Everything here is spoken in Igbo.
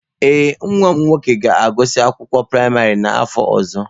Ee, nwa m nwoke ga-agụsị akwụkwọ praịmarị n'afọ ọzọ.